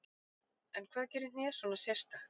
En hvað gerir hnéð svona sérstakt?